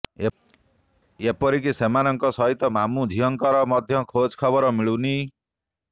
ଏପରିକି ସେମାନଙ୍କ ସହିତ ମାମୁ ଝିଅଙ୍କର ମଧ୍ୟ ଖୋଜଖବର ମିଳୁନି